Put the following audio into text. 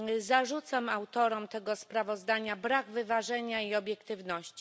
Zarzucam autorom tego sprawozdania brak wyważenia i obiektywności.